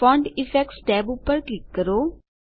font effects tab પર click કરો